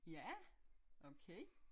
Ja okay